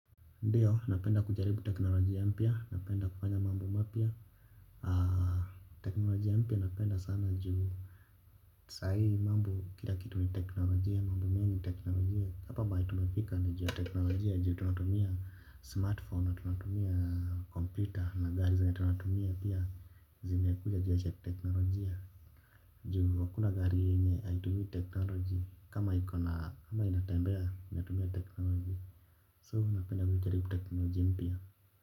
Ndio, napenda kujaribu teknolojia mpya, napenda kufanya mambo mapya. Teknolojia mpya napenda sana juu sai mambo kila kitu ni teknolojia, mambo mengi teknolojia. Hapa mahali tumefika ni juu teknolojia, juu tunatumia smartphone, na tunatumia computer, na gari zenye tunatumia pia zimekuja juu ya teknolojia. Juu hakuna gari yenye haitumi teknolojia, kama iko na ama inatembea, inatumia teknolojia So huwa napenda kujaribu technolojia mpya.